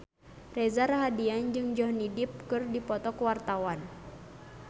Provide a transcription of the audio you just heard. Reza Rahardian jeung Johnny Depp keur dipoto ku wartawan